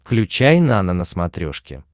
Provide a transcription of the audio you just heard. включай нано на смотрешке